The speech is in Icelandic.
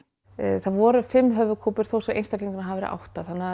það voru fimm þó svo einstaklingarnir hafi verið átta þannig að